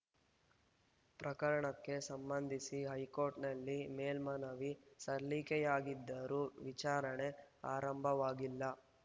ಪ್ರಕರಣಕ್ಕೆ ಸಂಬಂಧಿಸಿ ಹೈಕೋರ್ಟ್‌ನಲ್ಲಿ ಮೇಲ್ಮನವಿ ಸಲ್ಲಿಕೆಯಾಗಿದ್ದರೂ ವಿಚಾರಣೆ ಆರಂಭವಾಗಿಲ್ಲ